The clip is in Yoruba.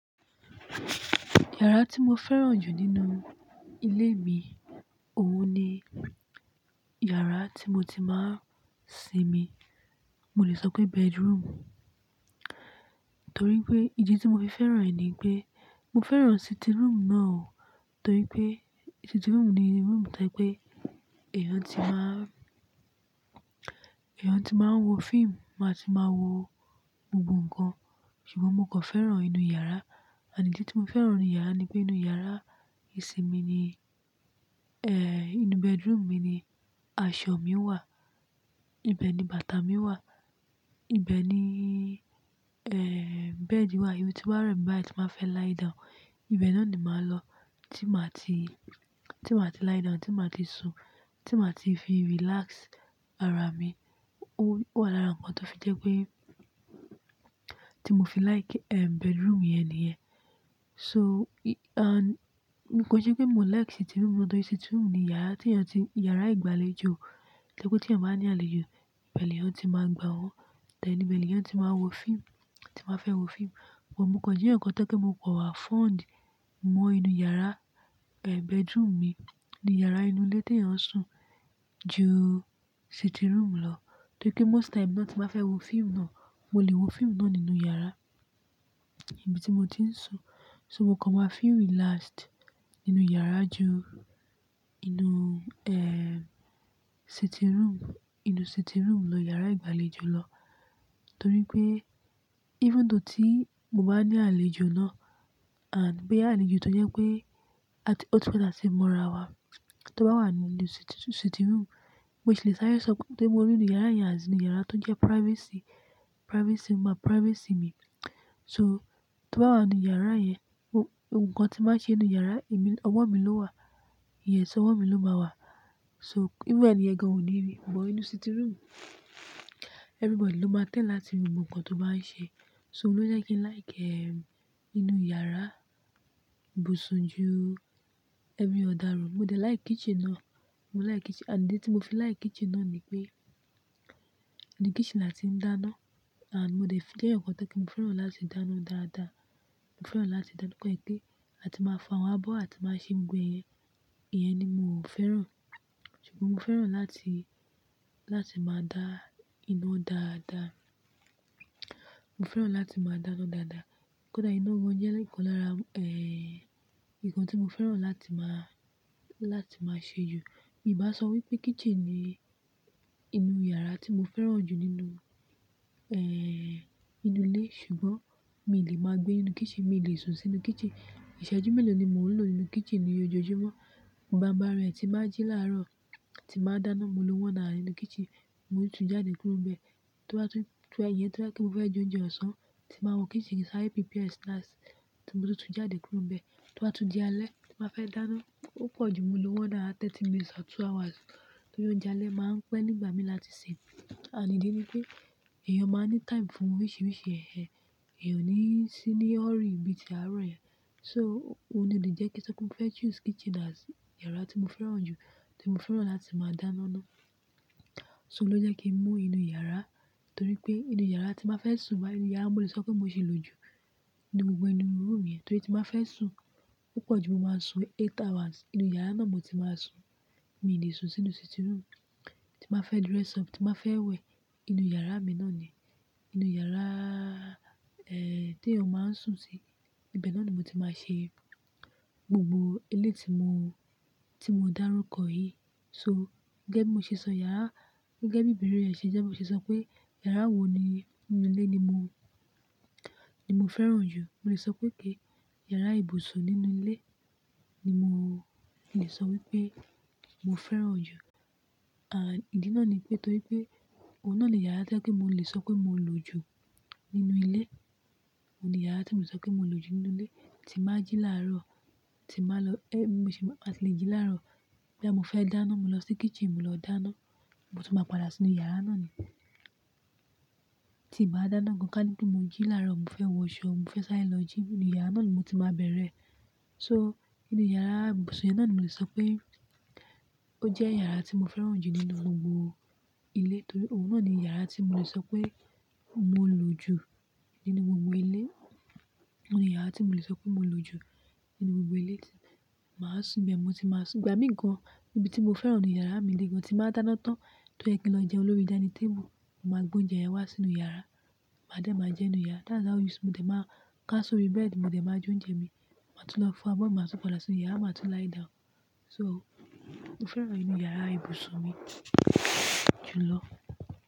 Yàrá tí mo fẹ́ràn jù nínú ilé mi, òun ni yàrá tí mo ti máa ń sinmi. Mo lè sọ pé bedroom. Torí pé ìdí tí mo fi fẹ́ràn rẹ̀ ni pé mo fẹ́ràn sitting room náà o. Torí pé sitting room ni room tí ẹ pé èèyàn tí máa ń, èèyàn tí máa ń wo fíìmù, máa ti máa wo gbogbo nǹkan. Ṣùgbọ́n mo kò fẹ́ràn inú yàrá. Ànídí tí mo fẹ́ràn inú yàrá ni pé inú yàrá ìsinmi ni, eh, inú bedroom mi ni aṣọ mi wà, ibẹ̀ ni bàtà mi wà, ibẹ̀ ni, eh, bed wà. Èmi tí bá rẹmì, báyíí ti máa fẹ́ lie down, ibẹ̀ náà ni màá lọ tí màá ti, tí màá ti lie down, tí màá ti sun, tí màá ti fi relax ara mi. Ó, ó lára nǹkan tó fi jẹ́ pé tí mo fi like, ehm, bedroom yẹn nìyẹn. So, and n kò jẹ́ pé mò ń like sitting room náà torí sitting room ni yàrá tí èèyàn ti, yàrá ìgbàlejò. Tẹ́kọ́ tí èèyàn bá ní àlejò, bẹ̀ní èèyàn tí máa gba wọ́n. Tẹ́lẹ̀ ni bẹ̀lú èèyàn tí máa wo fíìmù, tí máa fẹ́ wo fíìmù. But mo kàn jé nǹkan tán kí n lè kọ wá fund mọ inú yàrá, eh, bedroom mi, ní yàrá inú ilé tí èèyàn ń sùn ju sitting room lọ. Torí pé most time náà tí màá fẹ́ wo fíìmù náà, mo lè wo fíìmù náà nínú yàrá ibi tí mo ti ń sùn. So mo kàn wá feel relaxed nínú yàrá ju inú, eh, sitting room, inú sitting room lọ, yàrá ìgbàlejò lọ. Torí pé even though tí mo bá ní àlejò náà and bòyà àlejò tó jẹ́ pé at-- ótú pẹ̀ táti ti mo ara wa, tó bá wà nínú sitting, sitting room, mo ìṣe lè sáré sọkún. Torí mo rí inú yàrá yẹn azé inú yàrá tó jẹ́ privacy, privacy má, privacy mi. So tó bá wà nínú yàrá yẹn, ohun kan tí màá ṣe inú yàrá, èmi, ọwọ́ mi ló wà. Ìyẹn sì ọwọ́ mi ló máa wà. So even ẹnìyàn kan ò ní rí. But inú sitting room, everybody ló máa tẹ́l láti rí ohun kan tó bá ń ṣe. So ló jẹ́ kí n like, eh, inú yàrá ìbùsùn ju ẹni ọ̀daràn. Mo jẹ́ like kitchen náà. Mo like kitchen. Ànídí tí mo fi like kitchen náà ni pé idí kitchen láti ń dáná and mo dẹ́ fi jéyàn nǹkan tí mo fẹ́ràn láti dáná dáadáa. Mo fẹ́ràn láti dáná pẹ̀kú. A ti máa fo awọn abọ́, a ti máa ṣe ń gbe yẹn. Ìyẹn ni mò ń fẹ́ràn. Ṣùgbọ́n mo fẹ́ràn láti, láti máa dá iná dáadáa. Mo fẹ́ràn láti máa dáná dáadáa. Ọ́ dà iná wọ́n jẹ́ nǹkan lára, eh, nǹkan tí mo fẹ́ràn láti máa, láti máa ṣe jù. Èmi máa sọ wípé kitchen ni inú yàrá tí mo fẹ́ràn jù nínú, eh, inú ilé. Ṣùgbọ́n mi lè máa gbé inú kitchen, mi lè sùn sínú kitchen. Ìṣẹ́jú mélòó ni mò ń lò nínú kitchen ní ojoojúmọ́. Ìbà bá rẹ̀ e tí bàá jí láàárọ̀, tí màá dáná, mo ló one hour nínú kitchen. Mo lè tún jáde kúrò bẹ́ẹ̀. Torí ẹ́, iyẹn torí pé mó fẹ́ jẹ oúnjẹ ọ̀sán, tí màá wọ̀ kitchen, sáré prepare snacks, tí mo tún jáde kúrò bẹ́ẹ̀. Tobá tún dí alẹ́, tí màá fẹ́ dáná, ópọ̀ jù mo ló wà náà thirty minutes or two hours. Torí oúnjẹ alẹ́ máa ń pẹ́ nígbà mí láti sè é. Ànídí ni pé èèyàn máa ní time fún oríṣiríṣi ẹ̀hẹ̀. Èèyàn ò ní sí ní hurry bí i tí a rọ̀ yẹ̀. So òun ni òun jẹ́ kí tẹ́lẹ̀ kí n fẹ́ choose kitchen as yàrá tí mo fẹ́ràn jù, tí mo fẹ́ràn láti máa dáná ná. So ló jẹ́ kí mú inú yàrá torí pé inú yàrá tí màá fẹ́ sùn báyìí, inú yàrá mo lè sọ pé mo sì ń lò ju nínú gbogbo inú room yẹn torí tí màá fẹ́ sùn púpọ̀ jù, mo máa sùn eight hours. Inú yàrá náà mo ti máa sùn. Mi lè sùn sínú sitting room. Tí màá fẹ́ dress up, tí màá fẹ́ wẹ̀, inú yàrá mi náà ni. Inú yàrá, eh, tí èèyàn máa ń sùn sí, ibẹ̀ náà ni mo ti máa ṣe gbogbo eléyí tí mo, tí mo dárúkọ yí. So gé mo ṣe sọ yàrá, gé bí ìbẹ̀rẹ̀ rẹ̀ ṣe jẹ́ pé mo ṣe sọ pé yàrá wo ni inú ilé ni mo, ni mo fẹ́ràn jù. Mo lè sọ pé kí yàrá ìbùsùn nínú ilé ni mò, lè sọ wípé mo fẹ́ràn jù. Ànídí náà ni pé torí pé òun náà ni yàrá tí a pé mo lè sọ pé mo lò ju nínú ilé. Òun ni yàrá tí mo lè sọ pé mo lò ju nínú ilé. Tí màá jí láàárọ̀, tí màá lọ, eh, mo sì máa tìlè jí láàárọ̀. Bí à mo fẹ́ dáná, mo lọ sí kitchen, mo lọ dáná. Mo tún máa padà sínú yàrá náà ni. Tí bàá dáná gan kánìpé mo jí láàárọ̀, mo fẹ́ wọ ṣọ́, mo fẹ́ sáré lọ jím, inú yàrá náà ni mo ti máa bẹ̀rẹ̀. So inú yàrá ìbùsùn náà ni mo lè sọ pé ó jẹ́ yàrá tí mo fẹ́ràn jù nínú gbogbo ilé torí òun náà ni yàrá tí mo lè sọ pé mo lò ju nínú gbogbo ilé. Òun ni yàrá tí mo lè sọ pé mo lò ju nínú gbogbo ilé tí màá sùn bẹ́ẹ̀, mo ti máa sùn. Ìgbà mìí ko n níbi tí mo fẹ́ràn inú yàrá mi ni kí n máa dáná tán, tó jẹ́ kí lọ jẹ lórí dinning táble, màá gbé oúnjẹ yẹn wá sínú yàrá. Màá dẹ̀ máa jẹ nínú yàrá. That's how it is. Mo dè máa ká sórí bed, mo dè máa jẹ oúnjẹ mi, màá tún lọ fo abọ́, màá tún padà sínú yàrá, màá tún lie down. So mo fẹ́ràn inú yàrá ìbùsùn mi jùlọ.